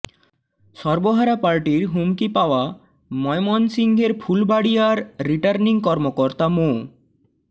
সর্বহারা পার্টির হুমকি পাওয়া ময়মনসিংহের ফুলবাড়ীয়ার রিটার্নিং কর্মকর্তা মো